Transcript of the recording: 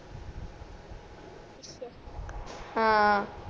ਹਾਂ